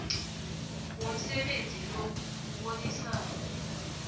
womsebenzi lo kubonisana